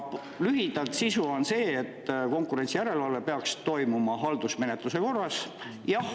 Lühidalt on sisu seal see, et konkurentsijärelevalve peaks toimuma haldusmenetluse korras.